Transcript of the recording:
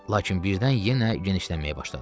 Lakin birdən yenə genişlənməyə başladı.